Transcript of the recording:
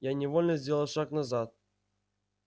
я невольно сделал шаг назад